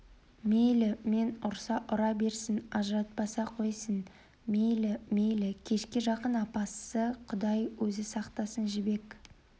мейлі мені ұрса ұра берсін ажыратпаса қойсын мейлі мейлі кешке жақын апасы құдай өзі сақтасын жібек